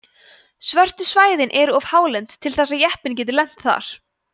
svörtu svæðin eru of hálend til þess að jeppinn geti lent þar